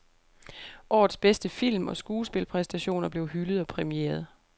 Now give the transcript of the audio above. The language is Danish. Årets bedste film og skuespilpræstationer blev hyldet og præmieret.